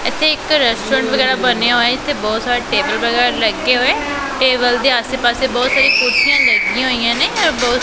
ਇਥੇ ਇੱਕ ਰੈਸਟੋਰੈਂਟ ਵਗੈਰਾ ਬਣਿਆ ਹੋਇਆ ਇਥੇ ਬਹੁਤ ਸਾਰੇ ਟੇਬਲ ਵਗੈਰਾ ਲੱਗੇ ਹੋਏ ਟੇਬਲ ਦੇ ਆਸੇ ਪਾਸੇ ਬਹੁਤ ਸਾਰੀ ਕੁਰਸੀਆਂ ਲੱਗੀਆਂ ਹੋਈਆਂ ਨੇ।